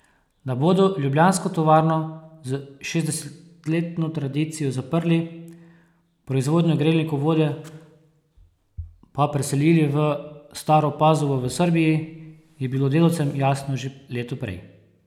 Da bodo ljubljansko tovarno s šestdesetletno tradicijo zaprli, proizvodnjo grelnikov vode pa preselili v Staro Pazovo v Srbiji, je bilo delavcem jasno že leto prej.